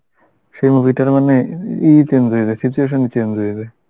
সেই movie টার মানে, ইয়ে change হয়ে গেছে situation ই change হয়ে যায়